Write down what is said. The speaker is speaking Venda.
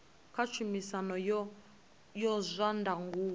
kha tshumisano ya zwa ndangulo